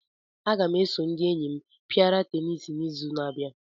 Aga m eso ndị enyi m pịara teniisi n'izu na-abịa.